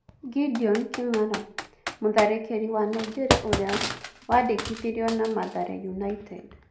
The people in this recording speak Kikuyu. Gedion Kĩng'ara: Mũtharĩkĩri wa Nigeria ũria wandĩkithirio na Mathare United